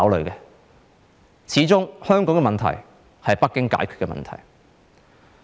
由始至終，香港的問題是由北京解決的問題。